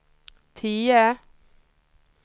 tio